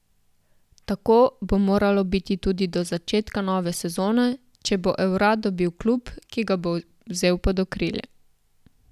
Tako bo moralo biti tudi do začetka nove sezone, če bo Evra dobil klub, ki ga bo vzel pod okrilje.